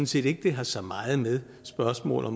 set ikke det har så meget med spørgsmålet